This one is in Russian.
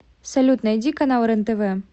салют найди канал рен тв